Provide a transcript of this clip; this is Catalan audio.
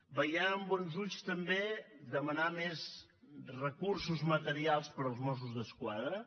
veiem amb bons ulls també demanar més recursos materials per als mossos d’esquadra